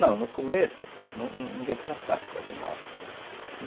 Não, no começo, ninguém plantava malvas aqui.